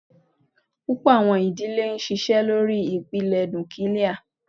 Púpọ̀ àwọn ìdílé ń ṣiṣẹ́ lórí ìpìlẹ̀ núkílíà.